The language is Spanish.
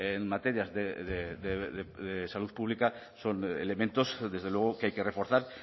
en materias de salud pública son elementos desde luego que hay que reforzar